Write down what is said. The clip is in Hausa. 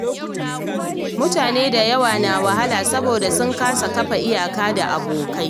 Mutane da yawa na wahala saboda sun kasa kafa iyaka da abokai.